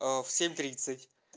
в семь тридцать